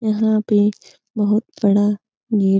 यहाँ पे बोहोत बड़ा गेट --